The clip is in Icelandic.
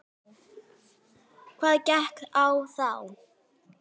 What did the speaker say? Hvað gekk á þá?